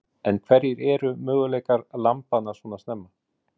Karen: En hverjir eru möguleikar lambanna svona snemma?